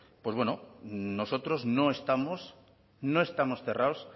nosotros no estamos cerrados